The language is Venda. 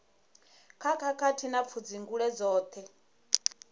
kha khakhathi na pfudzungule dzoṱhe